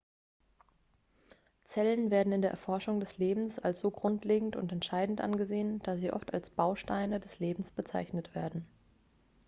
zellen werden in der erforschung des lebens als so grundlegend und entscheidend angesehen dass sie oft als bausteine des lebens bezeichnet werden